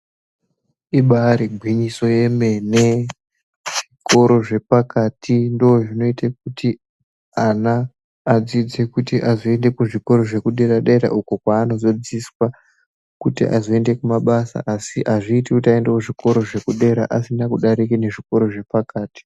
Ibaarigwinyiso yemene, zvikoro zvepakati ndozvinoite kuti ana adzidze kuti azoende kuzvikoro zvekudera-dera uko kwaanozodzidziswa kuti azoende kumabasa asi azviiti kuti aende kuzvikoro zvekudera asina kudarika nezvikoro zvepakati.